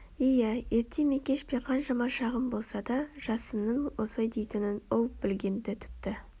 иә ерте ме кеш пе қаншама шағым болса да жасынның осылай дейтінін ол білген-ді тіпті